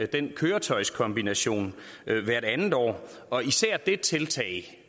den køretøjskombination hvert andet år og især det tiltag